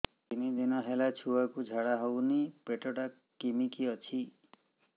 ତିନି ଦିନ ହେଲା ଛୁଆକୁ ଝାଡ଼ା ହଉନି ପେଟ ଟା କିମି କି ଅଛି